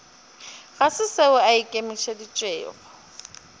ga se seo a ikemišeditšego